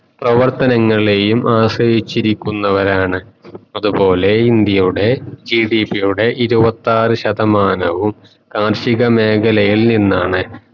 പ്രവർത്തനങ്ങളെയും ആശ്രയിച്ചിരിക്കുന്നവരാണ് അത്പോലെ India യുടെ GDP ഇരുവഥർ ശതമാനവും കാർഷിക മേഖലയിൽ നിന്നാണ്